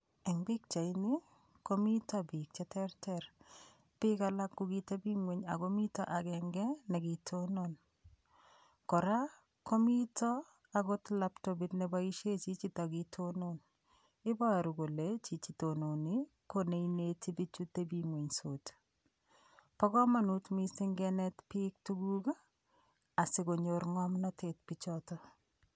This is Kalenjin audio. Eng' pikchaini komito biik cheterter biik alak ko kateping'wen ako mito agenge nekitonon kora komito akot laptopit neboishe chichito kitonon iboru kole chichi tononi ko neineti bichu teping'wenysot bo komonut mising' kenet biik tukuk asikonyor ng'omnotet bichoto